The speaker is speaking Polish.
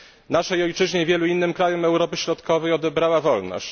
Naszej ojczyźnie i wielu innym krajom Europy Środkowej odebrała wolność.